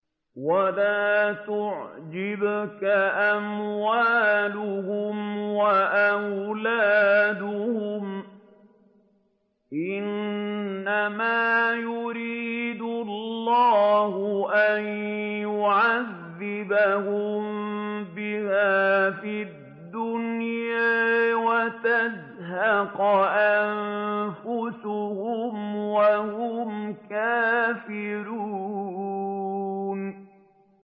وَلَا تُعْجِبْكَ أَمْوَالُهُمْ وَأَوْلَادُهُمْ ۚ إِنَّمَا يُرِيدُ اللَّهُ أَن يُعَذِّبَهُم بِهَا فِي الدُّنْيَا وَتَزْهَقَ أَنفُسُهُمْ وَهُمْ كَافِرُونَ